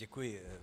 Děkuji.